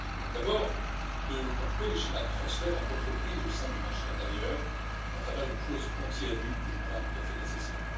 D'abord, de couper les schémas de transfert entre entreprises au sein du marché intérieur à travers une clause anti abus que je crois tout à fait nécessaire.